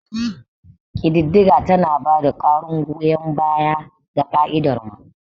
Ƙididdiga tana ba da ƙarin goyon baya ga ƙa'idar mu.